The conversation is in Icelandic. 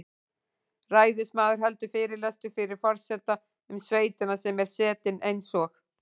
Ræðismaður heldur fyrirlestur fyrir forseta um sveitina sem er setin eins og